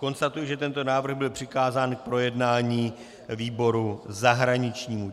Konstatuji, že tento návrh byl přikázán k projednání výboru zahraničnímu.